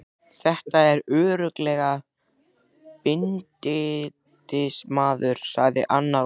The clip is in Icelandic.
Þetta er örugglega bindindismaður, sagði annar og hló.